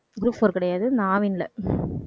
group four கிடையாது. இந்த ஆவின்ல